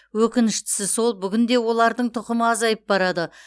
өкініштісі сол бүгінде олардың тұқымы азайып барады